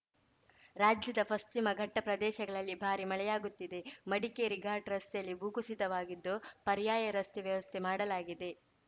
ರಾಜ್ಯದ ಪಶ್ಚಿಮ ಘಟ್ಟಪ್ರದೇಶಗಳಲ್ಲಿ ಭಾರೀ ಮಳೆಯಾಗುತ್ತಿದೆ ಮಡಿಕೇರಿ ಘಾಟ್‌ ರಸ್ತೆಯಲ್ಲಿ ಭೂಕುಸಿತವಾಗಿದ್ದು ಪರಾರ‍ಯಯ ರಸ್ತೆ ವ್ಯವಸ್ಥೆ ಮಾಡಲಾಗಿದೆ